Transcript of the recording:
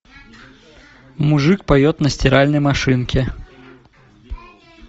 мужик поет на стиральной машинке